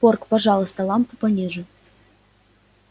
порк пожалуйста лампу пониже